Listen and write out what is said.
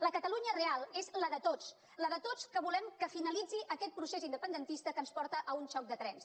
la catalunya real és la de tots la de tots els que volem que finalitzi aquest procés independentista que ens porta a un xoc de trens